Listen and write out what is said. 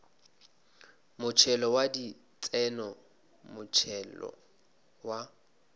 motšhelo wa ditseno motšhelo wa